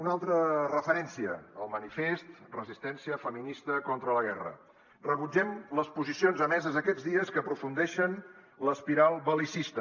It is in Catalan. una altra referència el manifest resistència feminista contra la guerra rebut·gem les posicions emeses aquests dies que aprofundeixen l’espiral bel·licista